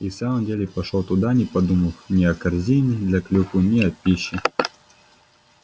и в самом деле пошёл туда не подумав ни о корзине для клюквы ни о пище